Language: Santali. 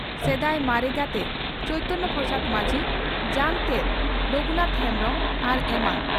ᱥᱮᱫᱟᱭ ᱢᱟᱨᱮ ᱜᱟᱛᱮ (ᱪᱚᱭᱛᱚᱱ ᱯᱨᱚᱥᱟᱫᱽ ᱢᱟᱹᱡᱷᱤ), ᱡᱟᱝ ᱛᱮᱫ ᱨᱚᱜᱷᱩᱱᱟᱛᱷ ᱦᱮᱢᱵᱽᱨᱚᱢ ᱟᱨ ᱮᱢᱟᱱ ᱹᱹᱹᱹ